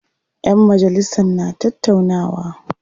Ƴan majalisan na tattaunawa.